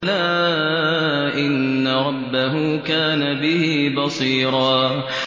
بَلَىٰ إِنَّ رَبَّهُ كَانَ بِهِ بَصِيرًا